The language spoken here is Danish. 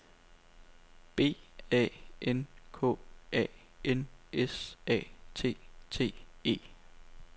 B A N K A N S A T T E